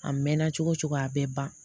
A mɛnna cogo cogo a bɛ ban